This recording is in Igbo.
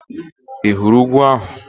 Ị hụrụ úgwú ahụ?